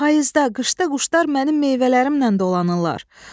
Payızda, qışda quşlar mənim meyvələrimlə dolanırlar.